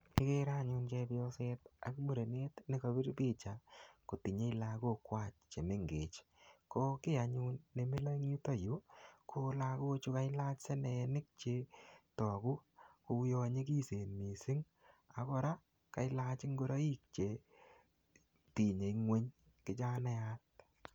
Ikere anyun chepyoset ak murenet ne kapir picha kotinye lagok kwach che mengech. Ko kiy anyun nemilo eng yutoyu, ko lagochu kailach seneenik chetogu kouyo nyikisen missing. Ak kora, kelach ngoroik chetinye ng'uny kijanaiyat.